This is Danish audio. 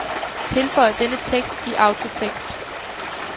Tilføj denne tekst i autotekst.